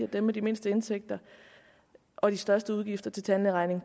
at dem med de mindste indtægter og de største udgifter til tandlægeregning